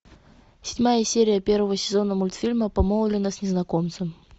седьмая серия первого сезона мультфильма помолвлена с незнакомцем